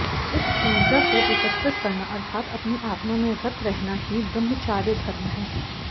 इस ऊर्जा को एकत्रित करना अर्थात अपनी आत्मा में रत रहना ही ब्रह्मचार्य धर्म है